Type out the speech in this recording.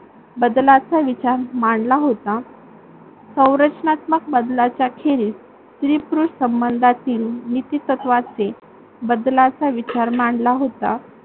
बदलाचा विचार मांडला होता. सौरचनात्मक बदलाच्याखेरीज स्त्री-पुरुष संबंधतील नीतीतत्वाचे बदलाचा विचार मांडला होता.